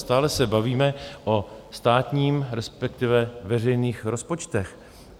Stále se bavíme o státním, respektive veřejných rozpočtech.